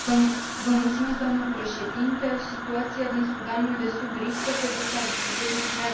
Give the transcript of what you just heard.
Doamnă președinte, situația din Sudanul de Sud riscă să destabilizeze întreaga regiune.